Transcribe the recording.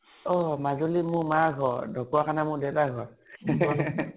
অ মাজুলী মোৰ মাৰ ঘৰ ঢকোৱাখানা মোৰ দেউতা ৰ ঘৰ